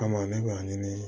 Kama ne b'a ɲini